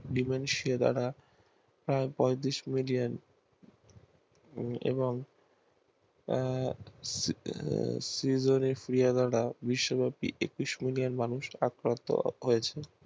বিমেম সেরারা তারপর বিষ্ণু জিএম এবং আহ একুশ মিলিয়ন মানুষ আক্রান্ত হয়েছে